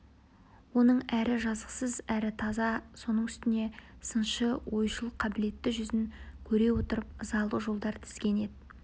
оның әрі жазықсыз әрі таза соның үстіне сыншы ойшыл қабілетті жүзін көре отырып ызалы жолдар тізген еді